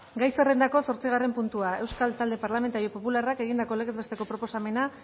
gai zerrendako zortzigarren puntua euskal talde parlamentario popularrak egindako legez besteko proposamena